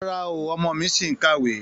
Rárá o, ọmọ mi ṣì ń kàwé.